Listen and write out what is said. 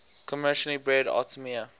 commercially breed artemia